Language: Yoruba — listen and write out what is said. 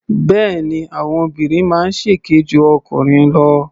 Bẹ́ẹ̀ni, àwọn obìnrin máa ń ṣèké ju ọkùnrin lọ.